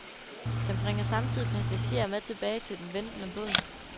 Den bringer samtidig passagerer med tilbage til den ventende båd.